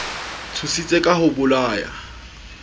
tshositse ka ho o bolaya